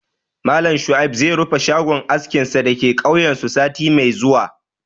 Malam Shuaib zai rufe shagon askinsa da ke kauyensu sati mai zuwa